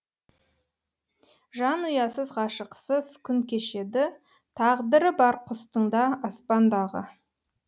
жанұясыз ғашықсыз күн кешеді тағдыры бар құстың да аспандағы